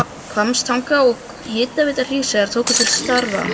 Hvammstanga og Hitaveita Hríseyjar tóku til starfa.